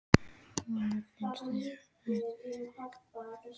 Honum finnst þessi orð næstum því jafnast á við ástarjátningu.